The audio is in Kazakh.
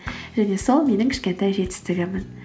және сол менің кішкентай жетістігім